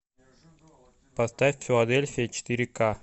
поставь филадельфия четыре ка